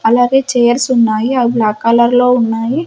అలాగే చేర్స్ ఉన్నాయి అవి బ్లాక్ కలర్ లో ఉన్నాయి.